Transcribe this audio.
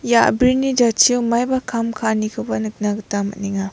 ia a·brini jatchio maiba kam ka·anikoba nikna gita man·enga.